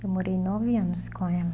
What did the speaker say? Eu morei nove anos com ela.